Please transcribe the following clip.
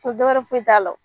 dɔwɛrɛ foyi t'a la.